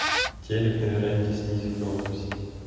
телек на веранде снизь громкость